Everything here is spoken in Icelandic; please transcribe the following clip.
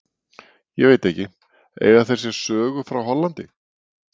Ég veit ekki, eiga þeir sér sögu frá Hollandi?